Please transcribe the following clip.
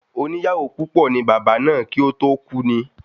Oní ìyàwó púpọ̀ ni Bàbá náà kí o to ku ni